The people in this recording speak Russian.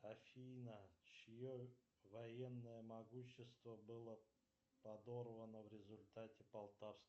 афина чье военное могущество было подорвано в результате полтавской